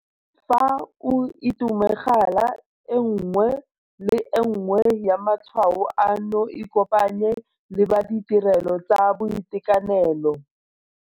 Fa o itemogela e nngwe le e nngwe ya matshwao ano ikopanye le ba ditirelo tsa boitekanelo.